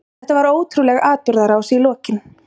Þetta var ótrúleg atburðarás í lokin.